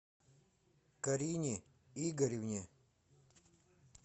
карине игоревне